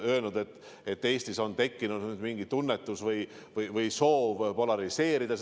Olen küsinud, kas Eestis on tekkinud mingi tunnetus või soov seda polariseerida.